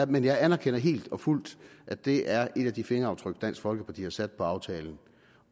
men jeg anerkender helt og fuldt at det er et af de fingeraftryk dansk folkeparti har sat på aftalen